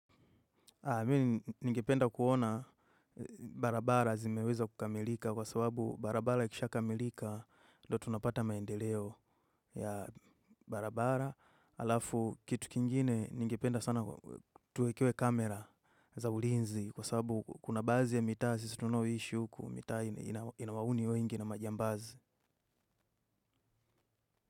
Mimi ningependa kuona barabara zimeweza kukamilika kwa sababu barabara ikishakamilika ndo tunapata maendeleo ya barabara. Alafu kitu kingine ningependa sana tuwekewe kamera za ulinzi kwa sababu kuna baadhi mitaa sisi tunayoishi mitaa ina wahuni wengi na majambazi.